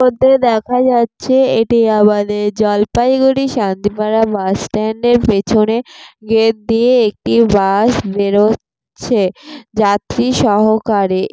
প্রতে দেখা যাচ্ছে এটি আমাদের জলপাইগুড়ি শান্তি পাড়া বাস স্ট্যান্ড এর পেছনে গেট দিয়ে একটি বাস বেরোচ্ছে যাত্রী সহকারে।